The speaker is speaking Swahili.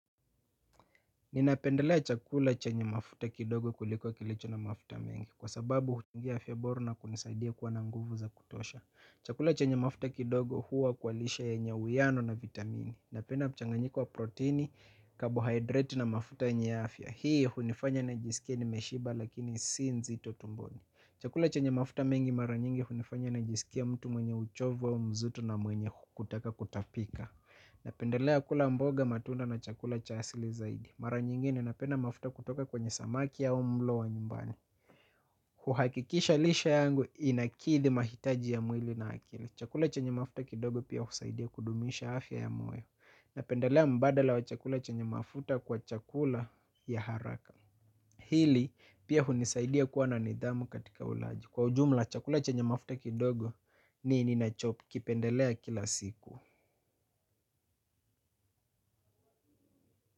Ninapendelea chakula chenye mafuta kidogo kuliko kilicho na mafuta mengi kwa sababu huchangia afya bora na kunisaidia kuwa na nguvu za kutosha. Chakula chenye mafuta kidogo huwa kualishe yaenye uwiano na vitamini. Napenda mchanganyiko wa proteini, kabohydrate na mafuta yenye afya. Hii hunifanya na jisikia ni meshiba lakini si nzito tumboni. Chakula chenye mafuta mengi hunifanya najiskia mtu mwenye uchovu au mzito na mwenye kutaka kutapika. Na pendelea kula mboga matunda na chakula cha asili zaidi. Mara nyingine napenda mafuta kutoka kwenye samaki au mlo wa nyumbani. Kuhakikisha lishe yangu inakidhi mahitaji ya mwili na akili. Chakula chenye mafuta kidogo pia husaidia kudumisha afya ya moyo. Na pendelea mbadala wa chakula cha nye mafuta kwa chakula ya haraka. Hili pia hunisaidia kuwa na nidhamu katika ulaji. Kwa ujumla chakula cha nye mafuta kidogo ni ninachokipendelea kila siku.